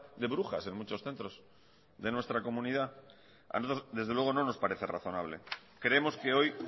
de brujas en muchos centros de nuestra comunidad a nosotros desde luego no nos parece razonable creemos que hoy